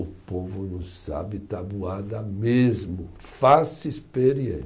O povo não sabe tabuada mesmo, faça experiên